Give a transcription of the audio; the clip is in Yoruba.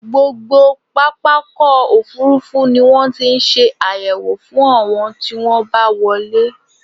Gbogbo pápákọ̀-òfurufú ni wọ́n ti ń ṣe àyẹ̀wò fún àwọn tí wọ́n bá wọlé.